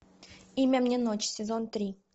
имя мне ночь сезон три